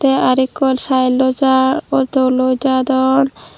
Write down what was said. te arow ekko saelloi jar auto loi jadon.